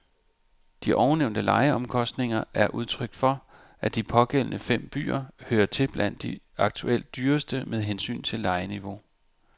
De ovennævnte lejeomkostninger er udtryk for, at de pågældende fem byer hører til blandt de aktuelt dyreste med hensyn til lejeniveau.